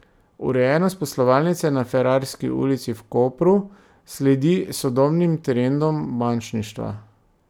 Urejenost poslovalnice na Ferrarski ulici v Kopru sledi sodobnim trendom bančništva.